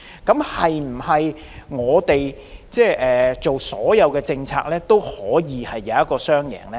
那我們制訂的所有政策，是否都能創造雙贏呢？